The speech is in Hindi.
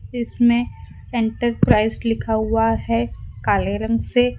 इसमें एंटरप्राइज लिखा हुआ है काले रंग से।